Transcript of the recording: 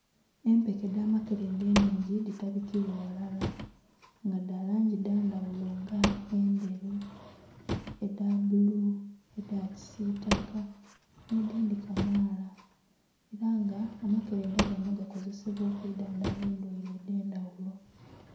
Empeke edh'amakelenda ennhingi dhitabikibwa ghalala nga dha langi dha ndhaghulo nga endheru, edha bbulu, edha kisiitaka nh'edhindhi kamaala. Ela nga amakelenda ganho gakozesebwa okwidhandhaba endwaile edh'endhaghulo.